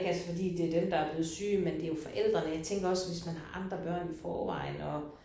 Altså fordi det er dem der er blevet syge men det er jo forældrene jeg tænker også hvis man har andre børn i forvejen og